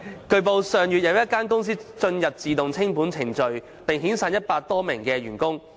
據報，上月有一間公司進入自動清盤程序並遣散一百多名員工。